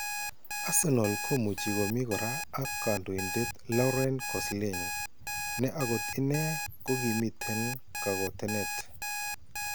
Arsenal komuchi komii koraa ak kandoindet Laurent Koscielny ne akot inee kokiimiten kakootenet